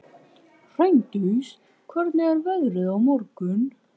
Hraundís, hvernig er veðrið á morgun?